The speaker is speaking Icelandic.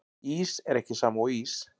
Ís er ekki sama og ís